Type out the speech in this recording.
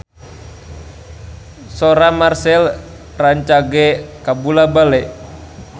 Sora Marchell rancage kabula-bale